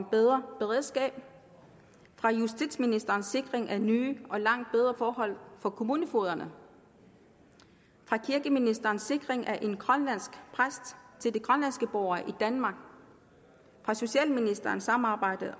bedre beredskab af justitsministerens sikring af nye og langt bedre forhold for kommunefogederne af kirkeministerens sikring af en grønlandsk præst til de grønlandske borgere i danmark af socialministerens samarbejde